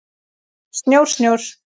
Snjór, snjór.